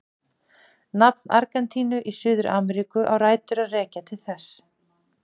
Nafn Argentínu í Suður-Ameríku á rætur að rekja til þess.